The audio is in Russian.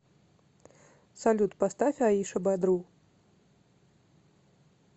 салют поставь аиша бадру